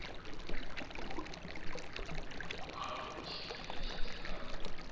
vhuanu tshine tsha tea u